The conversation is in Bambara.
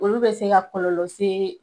Olu be se ka kɔlɔlɔ se